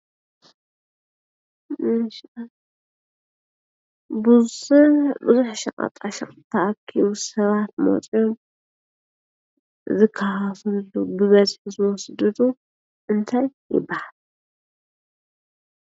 ቡዙሕ ሸቐጣ ሸቐጥ ተኣኪቡ ሰባት መፅዮም ዝከፋፈልሉ ብበዝሒ ዝወስድሉን እንታይ ይብሃል?